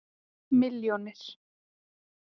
milljónir